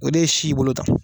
O de ye si y'i bolo tan.